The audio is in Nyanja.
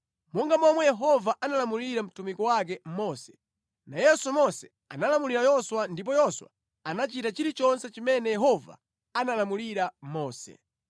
Monga momwe Yehova analamulira mtumiki wake Mose, nayenso Mose analamulira Yoswa ndipo Yoswa anachita chilichonse chimene Yehova analamulira Mose.